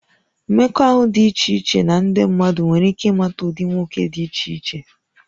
Mmekọahụ dị iche iche na ndị mmadụ nwere ike ịmata ụdị nwoke dị iche iche